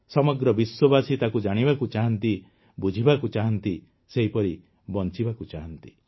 ସମଗ୍ର ବିଶ୍ୱବାସୀ ତାକୁ ଜାଣିବାକୁ ଚାହାନ୍ତି ବୁଝିବାକୁ ଚାହାନ୍ତି ସେହିପରି ବଂଚିବାକୁ ଚାହାନ୍ତି